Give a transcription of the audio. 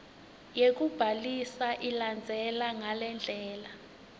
yekubhalisa ilandzela ngalendlela